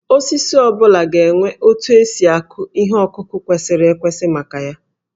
Osisi ọ bụla ga-enwe otu esi akụ ihe ọkụkụ kwesịrị ekwesị maka ya